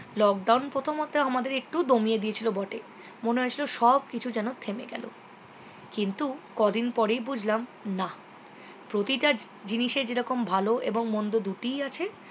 lockdown প্রথমতে আমাদের একটু দমিয়ে দিয়েছিলো বটে মনে হয়েছিল সবকিছু যেন থেমে গেলো কিন্তু কদিন পরেই বুঝলাম না প্রতিটা জিনিসে যেরকম ভালো এবং মন্দ দুটিই আছে